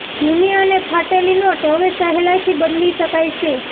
જૂની અને ફાટેલી નોટ હવે સહેલાઈથી બદલી શકાય છે